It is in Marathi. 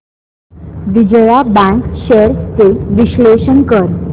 विजया बँक शेअर्स चे विश्लेषण कर